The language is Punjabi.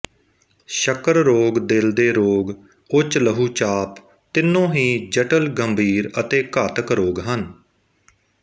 ਸ਼ੱਕਰ ਰੋਗ ਦਿਲ ਦੇ ਰੋਗ ਉੱਚ ਲਹੂਚਾਪ ਤਿੰਨੋਂ ਹੀ ਜਟਿਲ ਗੰਭੀਰ ਅਤੇ ਘਾਤਕ ਰੋਗ ਹਨ